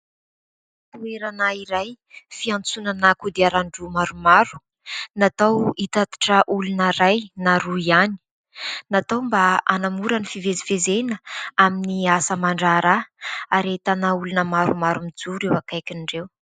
Toerana iray fiantsonana kodiaran-droa maromaro natao hitatitra olona iray na roa ihany. Natao mba hanamora ny fivezivezena amin'ny asa aman-draharaha ary entana olona maromaro mijoro eo akaikin'ireo.